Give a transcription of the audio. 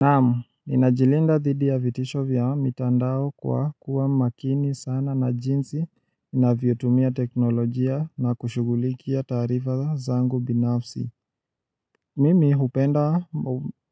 Naamu, ninajilinda thidi ya vitisho vya mitandao kwa kuwa makini sana na jinsi navyotumia teknolojia na kushugulikia taarifa zangu binafsi. Mimi hupenda